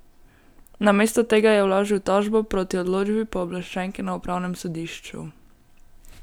Namesto tega je vložil tožbo proti odločbi pooblaščenke na upravnem sodišču.